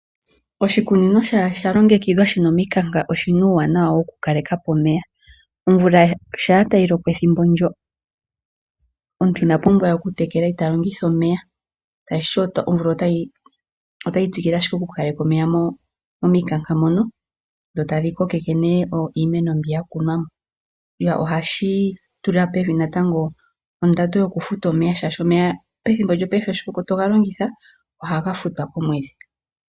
Oshikunino shaa sha longekidhwa shi na omikanka oshi na uuwanawa wokukaleka po omeya. Omvula shaa tayi loko ethimbo ndyo, omuntu ina pumbwa we okutekela ta longitha omeya, tashi ti omvula otayi tsikile ashike okukaleka omeya momikanka mono sho tayi kokeke nee iimeno mbi ya kunwa mo. Ohashi tula pevi natango ondando yokufuta omeya, shaashi omeya paife shi toga longitha ohaga futwa komwedhi.